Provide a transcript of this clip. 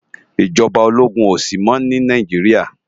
Ijòbá ólógún ó si mò ni Náijiriá